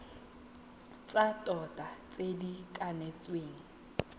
tsa tota tse di kanetsweng